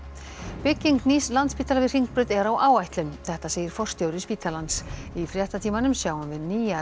bygging nýs Landspítala við Hringbraut er á áætlun þetta segir forstjóri spítalans í fréttatímanum sjáum við nýjar